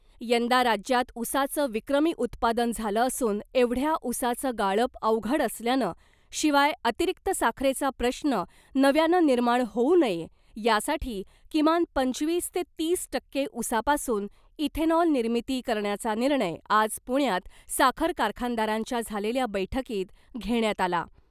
यंदा राज्यात उसाचं विक्रमी उत्पादन झालं असून एवढ्या उसाचं गाळप अवघड असल्यानं शिवाय अतिरिक्त साखरेचा प्रश्न नव्यानं निर्माण होऊ नये यासाठी किमान पंचवीस ते तीस टक्के उसापासून इथेनॉल निर्मिती करण्याचा निर्णय आज पुण्यात साखर कारखानदारांच्या झालेल्या बैठकीत घेण्यात आला .